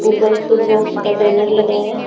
ऊपर food box का banner लगा है।